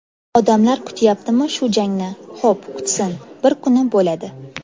Odamlar kutyaptimi shu jangni, xo‘p kutsin, bir kuni bo‘ladi.